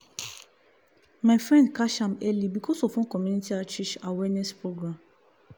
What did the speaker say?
my friend catch am early because of one community outreach awareness program.